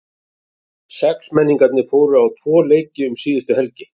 Sexmenningarnir fóru á tvo leiki um síðustu helgi.